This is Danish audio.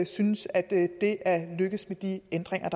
synes at det er lykkedes med de ændringer